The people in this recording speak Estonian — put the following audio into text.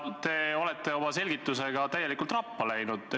Te olete oma selgitusega täielikult rappa läinud.